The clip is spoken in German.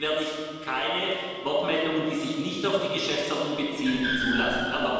Ansonsten werde ich keine Wortmeldungen, die sich nicht auf die Geschäftsordnung beziehen, zulassen.